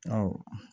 Ɔwɔ